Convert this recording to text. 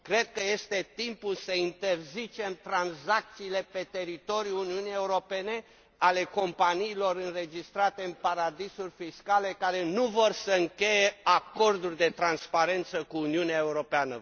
Cred că este timpul să interzicem tranzacțiile pe teritoriul Uniunii Europene ale companiilor înregistrate în paradisuri fiscale, care nu vor să încheie acorduri de transparență cu Uniunea Europeană.